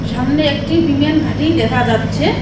সামনে একটি বিমান ঘাঁটি দেখা যাচ্ছে।